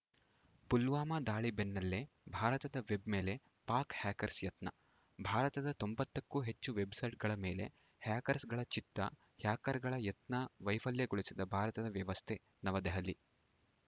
ಪುಲ್ವಾಮಾ ದಾಳಿ ಬೆನ್ನಲ್ಲೇ ಭಾರತದ ವೆಬ್‌ ಮೇಲೆ ಪಾಕ್‌ ಹ್ಯಾಕರ್ಸ್ ಯತ್ನ ಭಾರತದ ತೊಂಬತ್ತಕ್ಕೂ ಹೆಚ್ಚು ವೆಬ್‌ಸೈಟ್‌ಗಳ ಮೇಲೆ ಹ್ಯಾಕರ್ಸ್ ಗಳ ಚಿತ್ತ ಹ್ಯಾಕರ್ಗಳ ಯತ್ನ ವೈಫಲ್ಯಗೊಳಿಸಿದ ಭಾರತದ ವ್ಯವಸ್ಥೆ ನವದೆಹಲಿ